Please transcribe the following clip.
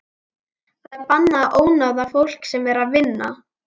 Það er bannað að ónáða fólk sem er að vinna.